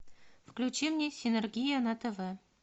включи мне синергия на тв